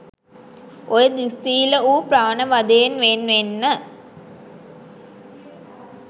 ඔය දුස්සීල වූ ප්‍රාණ වධයෙන් වෙන් වෙන්න.